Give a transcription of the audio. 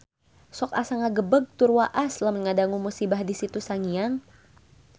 Sok asa ngagebeg tur waas lamun ngadangu musibah di Situ Sangiang